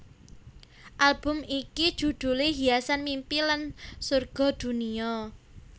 Album iki judhulé Hiasan Mimpi lan Sorga Dunia